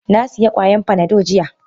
Nasiya kwayan Panado jiya.